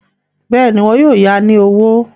Bẹ́ẹ̀ni, wọn yóò ya ní owó.